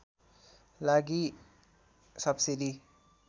लागि सब्सिडी